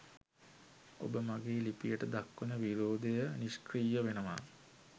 ඔබ මගේ ලිපියට දක්වන විරෝධය නිෂ්ක්‍රීය වෙනවා